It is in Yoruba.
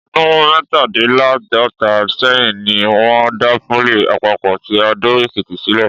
Ọdún mẹ́tàdínláàádọ́ta sẹ́yìn ni wọ́n dá pólì àpapọ̀ ti Adó-Èkìtì sílẹ̀